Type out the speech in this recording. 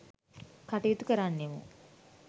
කටයුතු කරන්නෙමු.